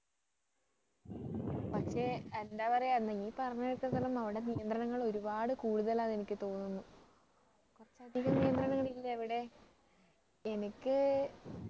പക്ഷേ എന്താ പറയുക നീ പറഞ്ഞതൂ കേട്ടടുത്തോളം അവിടെ നിയന്ത്രണങ്ങൾ ഒരുപാട് കൂടുതൽ ആണെന്ന് എനിക്ക് തോന്നുന്നു പക്ഷേ അധികം നിയന്ത്രണങ്ങൾ ഇല്ലേ അവിടെ എനിക്ക്